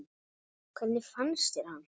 Hvernig fannst þér hann?